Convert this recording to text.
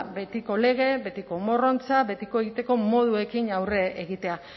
betiko lege betiko morrontza betiko egiteko moduekin aurre egitea